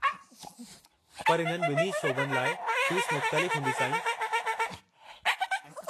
पर इन्हनि ॿिन्ही शोबनि लाइ फ़ीस मुख़्तलिफ़ हूंदी, साईं।